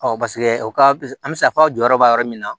o ka an bɛ se k'a fɔ aw jɔyɔrɔ b'a yɔrɔ min na